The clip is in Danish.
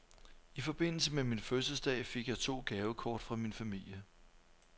I forbindelse med min fødselsdag fik jeg to gavekort fra min familie.